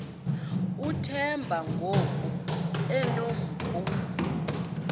uthemba ngoku enompu